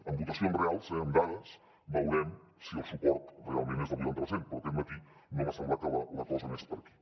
amb votacions reals eh amb dades veurem si el suport realment és del vuitanta per cent però aquest matí no m’ha semblat que la cosa anés per aquí